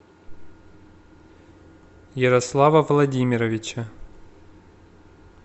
ярослава владимировича